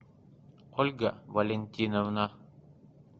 ольга валентиновна